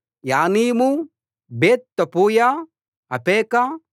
యానీము Beth Tappuah Aphekah